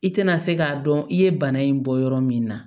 I tɛna se k'a dɔn i ye bana in bɔ yɔrɔ min na